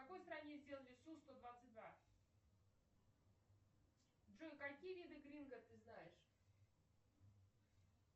в какой стране сделали су сто двадцать два джой какие виды гринго ты знаешь